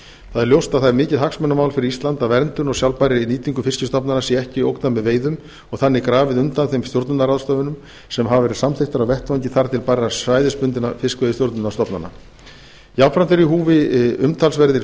það er ljóst að það er mikið hagsmunamál fyrir ísland að verndun og sjálfbærri nýtingu fiskstofnanna sé ekki ógnað með veiðum og þannig grafið undan þeim stjórnunarráðstöfunum sem hafa verið samþykktar á vettvangi þar til bærra svæðisbundinna fiskveiðistjórnunanstofnana jafnframt eru í húfi umtalsverðir